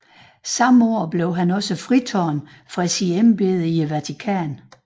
Samme år blev han også fritaget fra sit embede af Vatikanet